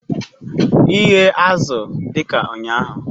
Ighe azụ dị ka ụnyaahụ